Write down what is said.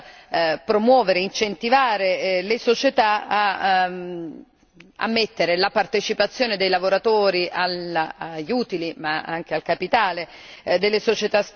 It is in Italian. promuovere e incentivare le società ad ammettere la partecipazione dei lavoratori agli utili, ma anche al capitale, delle società stesse.